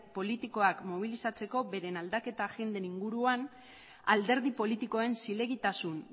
politikoak mobilizatzeko beren aldaketa agenden inguruan alderdi politikoen zilegitasun